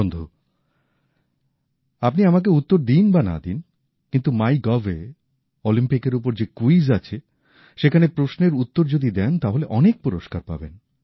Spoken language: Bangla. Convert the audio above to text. বন্ধু আপনি আমাকে উত্তর দিন বা না দিন কিন্তু মাইগভে অলিম্পিকের উপর যে ক্যুইজ আছে সেখানে প্রশ্নের উত্তর যদি দেন তাহলে অনেক পুরস্কার পাবেন